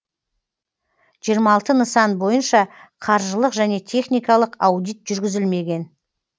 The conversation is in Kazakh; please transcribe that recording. жиырма алты нысан бойынша қаржылық және техникалық аудит жүргізілмеген